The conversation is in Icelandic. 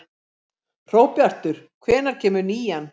Hróbjartur, hvenær kemur nían?